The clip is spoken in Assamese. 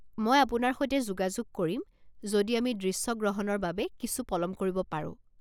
মই আপোনাৰ সৈতে যোগাযোগ কৰিম যদি আমি দৃশ্যগ্ৰহণৰ বাবে কিছু পলম কৰিব পাৰো।